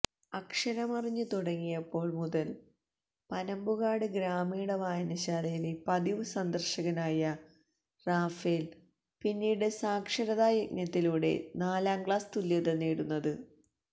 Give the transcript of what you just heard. അക്ഷരമറിഞ്ഞു തുടങ്ങിയപ്പോള് മുതല് പനമ്പുകാട് ഗ്രാമീണ വായനശാലയിലെ പതിവു സന്ദര്ശകനായ റാഫേല് പിന്നീട് സാക്ഷരതാ യജ്ഞത്തിലൂടെയാണ് നാലാംക്ലാസ് തുല്യത നേടുന്നത്